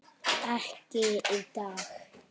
Ekki í dag.